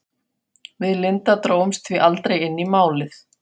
Við Linda drógumst því aldrei inn í Málið.